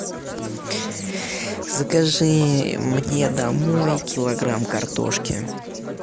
закажи мне домой килограмм картошки